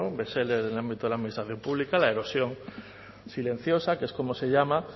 un bestseller en el ámbito de la administración pública la erosión silenciosa que es como se llama